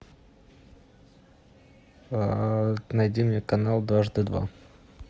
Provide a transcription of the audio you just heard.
найди мне канал дважды два